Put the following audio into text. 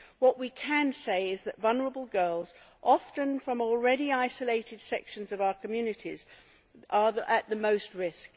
What we can say is that vulnerable girls, often from already isolated sections of our communities, are at the most risk.